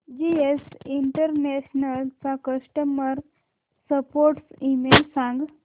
GS international चा customer support email सांग